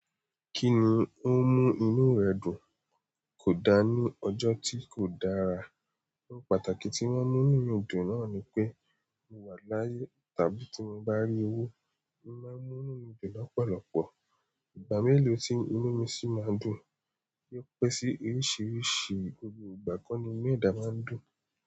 Kíni ó ń mú inú rẹ dùn kò dá ní ọjọ́ tí kò dára. Ohun pàtàkì tí wọ́n mú inú mi dùn náà ni pé mo wà láyé. Tàbí tí mo bá rí owó, o màá n múnú mi dùn lọ́pọ̀lọpọ̀. Ìgbà mélòó tí inú mi sì máa n dùn. Yóò pẹ́ sí oríṣìíríṣìí, gbogbo ìgbà kọ́ ni inú ẹ̀dà máa ń dùn.